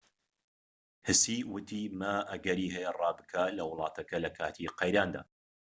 هسی وتی ما ئەگەری هەیە ڕا بکات لە وڵاتەکە لەکاتی قەیراندا